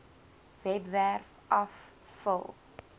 webwerf af vul